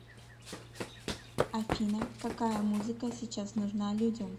афина какая музыка сейчас нужна людям